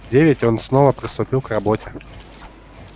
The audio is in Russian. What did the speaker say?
в девять он снова приступил к работе